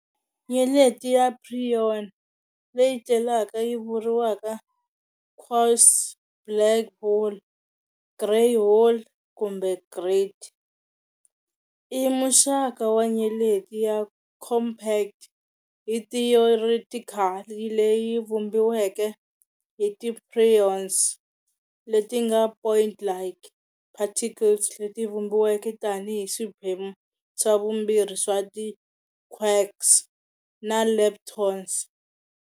Nyeleti ya preon, leyi tlhelaka yi vuriwa quasi-black hole, grey hole kumbe grate, i muxaka wa nyeleti ya compact hi theoretically leyi vumbiweke hi ti preons, leti nga"point-like" particles leti vumbiweke tani hi swiphemu swa vumbirhi swa ti quarks na Leptons.